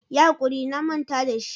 Yi hakuri na manta da shi.